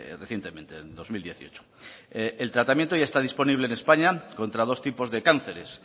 recientemente en dos mil dieciocho el tratamiento ya está disponible en españa contra dos tipos de cánceres